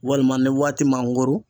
Walima ni waati mangoro